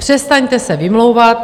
Přestaňte se vymlouvat.